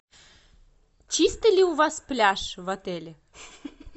чистый ли у вас пляж в отеле